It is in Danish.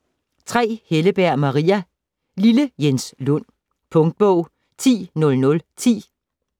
Helleberg, Maria: Lille Jens Lund Punktbog 100010